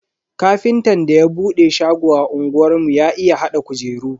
Ƙafintan da ya bude shago a unguwar mu ya iya hada kujeru.